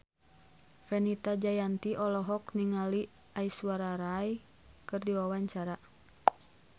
Fenita Jayanti olohok ningali Aishwarya Rai keur diwawancara